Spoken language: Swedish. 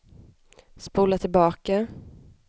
spola tillbaka